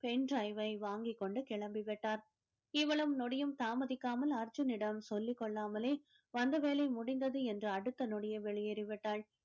pen drive வை வாங்கிக் கொண்டு கிளம்பி விட்டார் இவ்வளவும் நொடியும் தாமதிக்காமல் அர்ஜுனிடம் சொல்லிக் கொள்ளாமலே வந்த வேலை முடிஞ்சது என்று அடுத்த நொடியே வெளியேறி விட்டால்